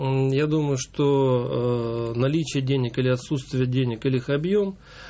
мм я думаю что ээ наличии денег или отсутствия денег или их объем